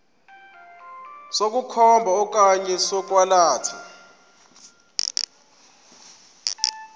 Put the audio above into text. sokukhomba okanye sokwalatha